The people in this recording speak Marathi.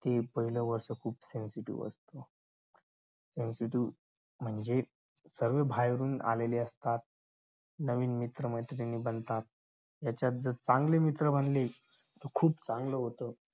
हे पाहिलं वर्ष खूप कडकीच जात. म्हणजे जे बाहेरून आलेले असतात नवीन मित्रमैत्रिणी बनतात त्याच्यात जर चांगले मित्र बनले तर खूप चांगलं होत.